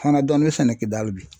Fana dɔɔnin sɛnɛkɛ dali bi.